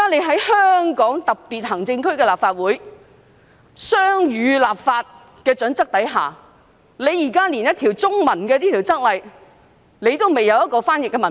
在香港特別行政區立法會的雙語立法準則下，政府所提交的《附則 II》竟然不備有中文譯本。